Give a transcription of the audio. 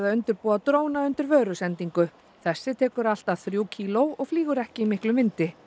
búa dróna undir vörusendingu þessi tekur allt að þrjú kíló og flýgur ekki í miklum vindi